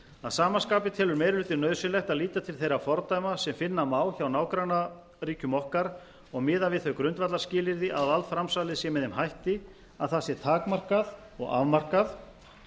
að sama skapi telur meiri hlutinn nauðsynlegt að líta til þeirra fordæma sem finna má hjá nágrannaríkjum okkar og miða við þau grundvallarskilyrði að valdframsalið sé með þeim hætti að það sé takmarkað og afmarkað